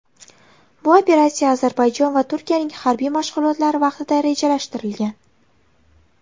Bu operatsiya Ozarbayjon va Turkiyaning harbiy mashg‘ulotlari vaqtida rejalashtirilgan.